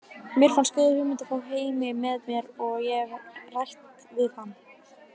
Mér fannst góð hugmynd að fá Heimi með mér og ég hef rætt við hann.